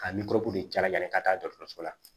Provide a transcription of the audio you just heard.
Ka jalaki ka taa dɔgɔtɔrɔso la